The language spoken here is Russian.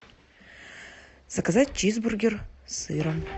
заказать чизбургер с сыром